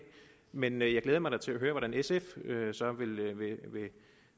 men jeg glæder mig da til at høre hvordan sf så